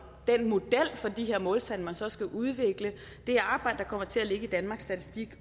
den model for de her måltal man så skal udvikle det arbejde kommer til at ligge i danmarks statistik